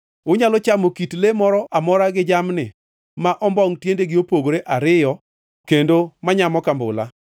Unyalo chamo kit le moro amora gi jamni ma ombongʼ tiendegi opogore ariyo kendo manyamo kambula.